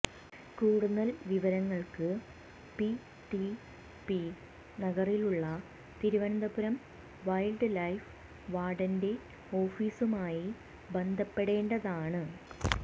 കൂടുതൽ വിവരങ്ങൾക്ക് P T P നഗറിലുള്ള തിരുവനന്തപുരം വെൽഡ്ലൈഫ് വാർഡന്റെ ഓഫീസുമായി ബന്ധപ്പെടേണ്ടതാണ്